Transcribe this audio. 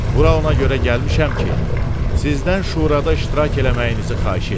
Bura ona görə gəlmişəm ki, sizdən şurada iştirak eləməyinizi xahiş eləyim.